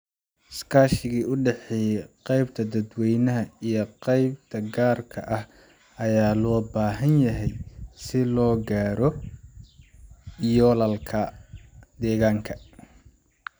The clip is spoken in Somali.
Iskaashiga u dhexeeya qaybta dadweynaha iyo qaybta gaarka ah ayaa loo baahan yahay si loo gaaro yoolalka deegaanka.